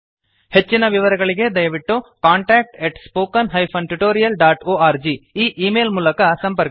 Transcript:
ಹೆಚ್ಚಿನ ವಿವರಗಳಿಗೆ ದಯವಿಟ್ಟು contactspoken tutorialorg ಈ ಈ ಮೇಲ್ ಮೂಲಕ ಸಂಪರ್ಕಿಸಿ